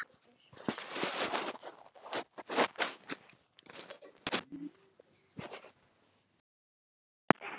Hagl er buna úr kú.